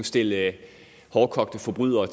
stille hårdkogte forbrydere